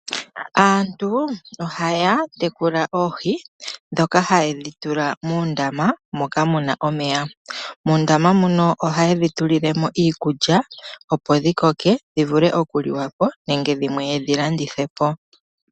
Aantu ohaya tekula oohi ndhoka haye dhi tula muundama moka muna omeya. Muundama muno ohaye dhi tulile mo iikulya opo dhi koke dhi vule okuliwa po nenge dhimwe ye dhi landithe po.